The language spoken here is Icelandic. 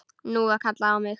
Nú var kallað á mig!